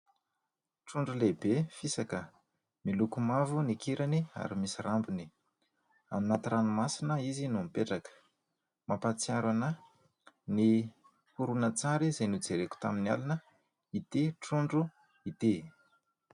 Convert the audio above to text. Trondro lehibe fisaka miloko mavo ny kirany ary misy rambony. Any anaty ranomasina izy no mipetraka. Mampahatsiaro anahy ny horonantsary izay nojereko tamin'ny alina ity trondro ity.